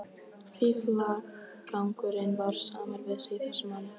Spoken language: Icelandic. Fíflagangurinn var samur við sig í þessu máli.